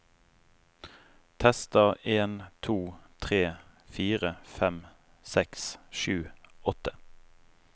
Tester en to tre fire fem seks sju åtte